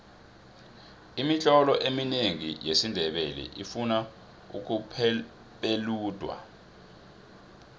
imitlolo eminengi yesindebele ifuna ukupeledwa